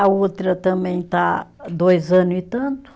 A outra também está dois ano e tanto.